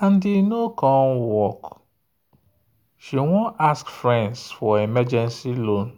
and e no work she wan ask friends for emergency loan.